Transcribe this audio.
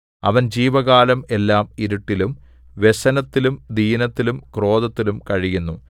അവൻ ജീവകാലം എല്ലാം ഇരുട്ടിലും വ്യസനത്തിലും ദീനത്തിലും ക്രോധത്തിലും കഴിയുന്നു